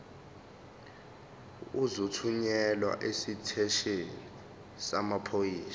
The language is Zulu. uzothunyelwa esiteshini samaphoyisa